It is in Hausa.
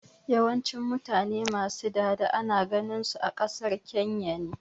Yawancin mutane ma su dada ana ganin su a ƙasar Kenya ne